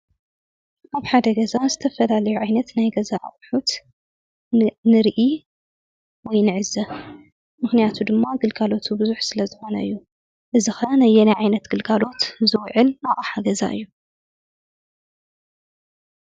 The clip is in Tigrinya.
ኣብ ሓደ ገዛ ዝተፈላለዩ ዓይነት ናይ ገዛ ኣቅሑት ንሪኢ ወይ ንዕዘብ። ምኽንያቱ ድማ ግልጋሎቱ ብዙሕ ስለ ዝኾነ እዩ። እዚ ኸዓ ነየናይ ዓይነት ግልጋሎት ዝውዕል ኣቕሓ ገዛ እዩ።